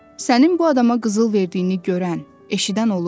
Sənin bu adama qızıl verdiyini görən, eşidən olub?